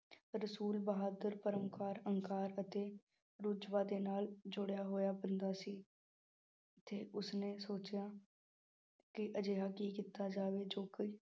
ਰਸੂਲ ਬਹਾਦੁਰ ਅਤੇ ਨਾਲ ਜੁੜਿਆ ਹੋਇਆ ਬੰਦਾ ਸੀ। ਤੇ ਉਸਨੇ ਸੋਚਿਆ ਕੀ ਅਜਿਹਾ ਕੀ ਕੀਤਾ ਜਾਵੇ ਜੋ ਕੋਈ